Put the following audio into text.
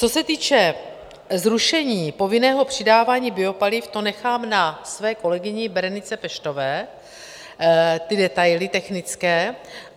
Co se týče zrušení povinného přidávání biopaliv, to nechám na své kolegyni Berenice Peštové, ty detaily technické.